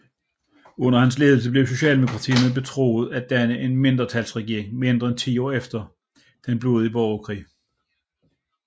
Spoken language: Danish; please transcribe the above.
Under hans ledelse blev socialdemokraterne betroet at danne en mindretalsregering mindre end 10 år efter den blodige borgerkrig